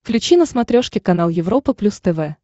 включи на смотрешке канал европа плюс тв